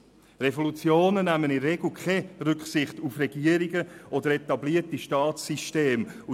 Revolutionen nehmen in der Regel keine Rücksicht auf Regierungen oder etablierte Staatssysteme.